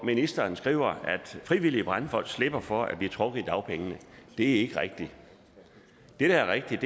ministeren skriver at frivillige brandfolk slipper for at blive trukket i dagpengene det er ikke rigtigt det der er rigtigt